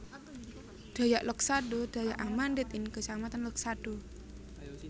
Dayak Loksado Dayak Amandit ing kecamatan Loksado